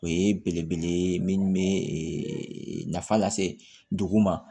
O ye belebele ye minnu bɛ nafa lase dugu ma